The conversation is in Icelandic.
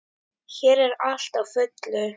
Hér er allt á fullu.